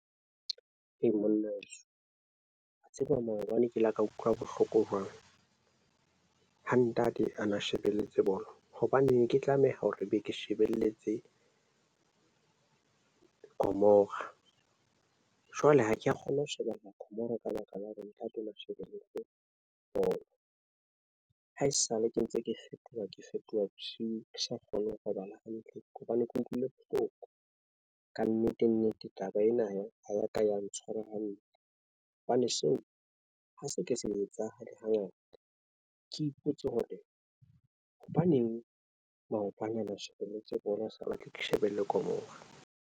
Monna wa tseba maobane ke la ka utlwa bohloko jwang ha ntate a na shebelletse bolo, hobaneng ke tlameha hore be ke shebelletse Gomora jwale ha ke ya kgona ho shebella kamora ka baka la hore nka thola shebelle bolo ha esale ke ntse ke fetoha, ke fetoha bosiu, ke sa kgone ho robala hantle hobane ke utlwile bohloko ka nnete. Nnete taba ena ya ho ya ka ya ntshwara hantle hobane seo ha se ke se etsa, hangata ke ipotse hore hobaneng maoto ana na shebelletse bolo a sa batle ke shebelle Gomora.